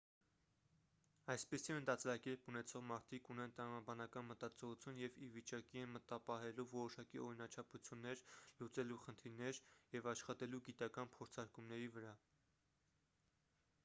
այսպիսի մտածելակերպ ունեցող մարդիկ ունեն տրամաբանական մտածողություն և ի վիճակի են մտապահելու որոշակի օրինաչափություններ լուծելու խնդիրներ և աշխատելու գիտական փորձարկումների վրա